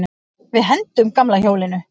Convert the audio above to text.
Við hendum gamla hjólinu.